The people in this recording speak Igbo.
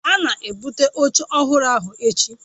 A na-ebụte oche ọhụrụ ahụ echi?